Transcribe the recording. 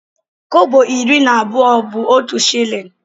Kọbọ iri na abụọ bu otụ shillin.